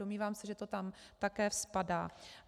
Domnívám se, že to tam také spadá.